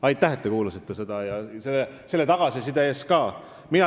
Aitäh, et te seda kuulasite, ja selle tagasiside eest ka!